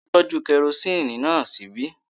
Tolú tọ́jú kerosini náà ṣíbí